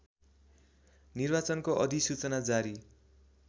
निर्वाचनको अधिसूचना जारी